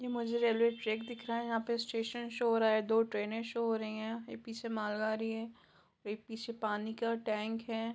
मुझे railway track दिख रहा है यहाँ पे स्टेशन शो हो रहा है दो ट्रेनें शो हो रही है पीछे माल गाड़ी है पीछे पानी का टैंक है ।